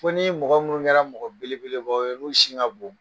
Fɔ ni e mɔgɔ minnu kɛra mɔgɔ bele beleba ye n'u sin ka bo.